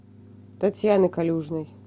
татьяны калюжной